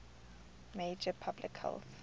major public health